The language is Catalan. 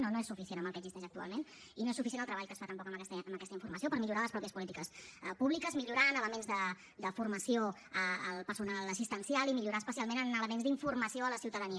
no no és suficient amb el que existeix actualment i no és suficient el treball que es fa tampoc amb aquesta informació per millorar les mateixes polítiques públiques millorar en elements de formació al personal assistencial i millorar especialment en elements d’informació a la ciutadania